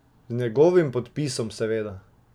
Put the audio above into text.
Z njegovim podpisom seveda.